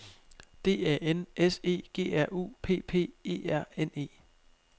D A N S E G R U P P E R N E